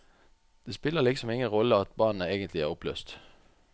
Det spiller liksom ingen rolle at bandet egentlig er oppløst.